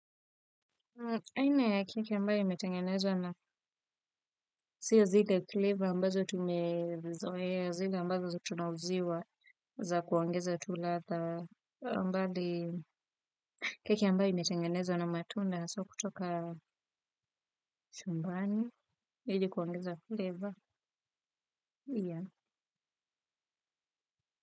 Aina ya kiki ambayo imetengeneza na siyo zile flavour ambazo tumezoea zile ambazo tunawziwa za kuongeza tu ladha mbali keki ambayo imetengenezwa na matunda sio kutoka chumbani ili kuongeza flavour pia.